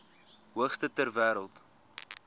hoogste ter wêreld